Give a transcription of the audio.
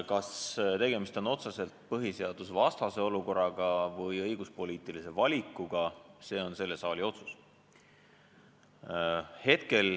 Kas tegemist on otseselt põhiseadusvastase olukorraga või õiguspoliitilise valikuga, see on selle saali otsus.